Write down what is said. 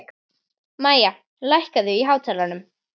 Mæja, lækkaðu í hátalaranum.